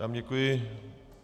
Já vám děkuji.